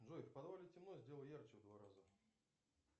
джой в подвале темно сделай ярче в два раза